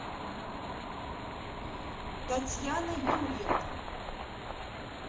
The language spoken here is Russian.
татьяна юрьевна